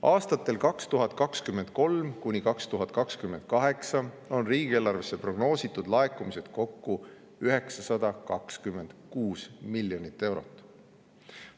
Aastatel 2023–2028 on riigieelarvesse prognoositud laekumisi kokku 926 miljonit eurot.